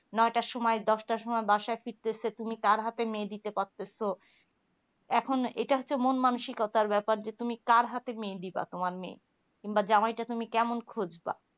নয়টার সময় দশটার সময় বাসায় ফিরতেছে তুমি তার হাতে মেয়ে দিতে পারতেছো এখন এটা হচ্ছে মন মানুসিকতার ব্যাপার যে তুমি কার হাতে মেয়ে দিবা তোমার মেয়ে কিংবা জামাইটা তুমি কেমন খুঁজবা